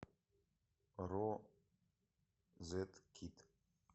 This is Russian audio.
розеткид